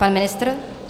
Pan ministr?